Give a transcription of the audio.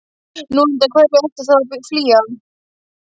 Nú, undan hverju ertu þá að flýja?